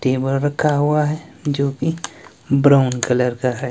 Table रखा हुआ है जो कि ब्राउन कलर का है।